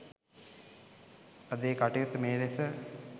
අද ඒ කටයුත්ත මේ ලෙස